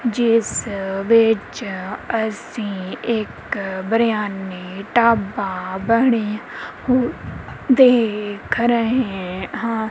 ਜਿਸ ਵਿੱਚ ਅਸੀਂ ਇੱਕ ਬਿਰਿਆਨੀ ਢਾਬਾ ਬਣਿਆ ਹੋਇਆ ਦੇਖ ਰਹੇ ਹਾਂ।